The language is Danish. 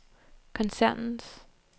koncernens